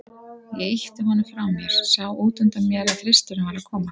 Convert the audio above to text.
Ég ýtti honum frá mér, sá útundan mér að Þristurinn var að koma.